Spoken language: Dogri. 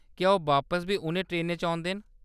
क्या ओह्‌‌ बापस बी उʼनें ट्रेनें च औंदे न ?